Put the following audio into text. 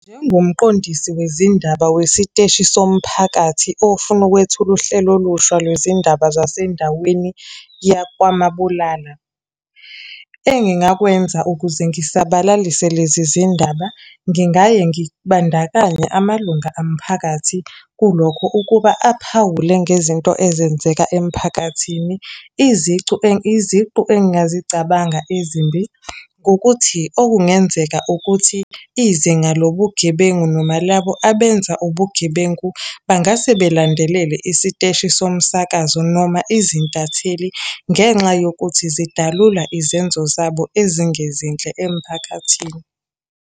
Njengomqondisi wezindaba wesiteshi somphakathi ofuna ukwethula uhlelo olusha lwezindaba zasendaweni yakwaMabulala. Engingakwenza ukuze ngisabalise lezi zindaba, ngingaye ngibandakanya amalunga omphakathi kulokho ukuba aphawule ngezinto ezenzeka emphakathini. Izicu, iziqu engingazicabanga ezimbi, ngokuthi okungenzeka ukuthi izinga lobugebengu noma labo abenza ubugebengu bangase belandelele isiteshi somsakazo noma izintatheli ngenxa yokuthi zidalula izenzo zabo ezingezinhle emphakathini.